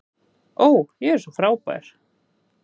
Ó, ég er svo frábær.